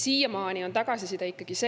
Siiamaani on tagasiside olnud ikkagi see …